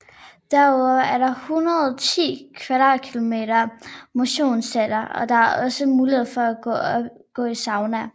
Derudover er der 110 kvadratmeter motionscenter og der er også mulighed for at gå i sauna